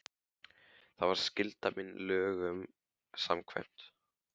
SKÚLI: Það var skylda mín lögum samkvæmt.